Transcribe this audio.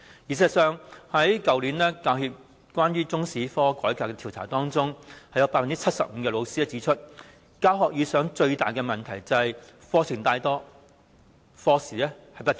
事實上，去年教協就中史科改革進行調查，結果有 75% 的教師指出，在教學時遇到的最大問題就是課程太廣、課時不足。